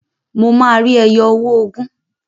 Mo máa rí ẹyọ owó ogún.